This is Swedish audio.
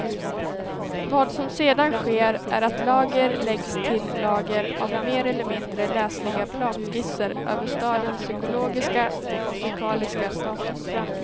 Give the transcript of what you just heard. Vad som sedan sker är att lager läggs till lager av mer eller mindre läsliga planskisser över stadens psykologiska och fysikaliska status.